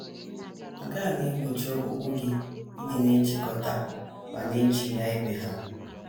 Nke a na - egbochi ọkpụkpụ gị ịdị na - echikọta ma na - echihịa ibe ha.